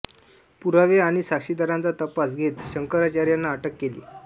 पुरावे आणि साक्षीदारांचा तपास घेत शंकराचार्यांना अटक केली